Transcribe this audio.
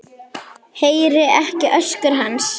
Heyri ekki öskur hans.